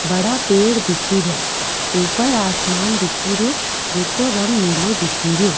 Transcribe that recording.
बड़ा पेड़ दिखे रिया ऊपर आसमान दिखे रियो जेको रंग नीलो दिखे रियो।